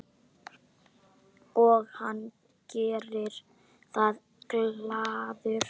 Og hann gerir það glaður.